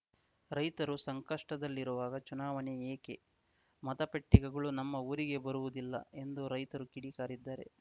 ರೈತರು ಸಂಕಷ್ಟದಲ್ಲಿರುವಾಗ ಚುನಾವಣೆ ಏಕೆ ಮತ ಪೆಟ್ಟಿಗೆಗಳು ನಮ್ಮ ಊರಿಗೆ ಬರುವುದಿಲ್ಲ ಎಂದು ರೈತರು ಕಿಡಿ ಕಾರಿದ್ದಾರೆ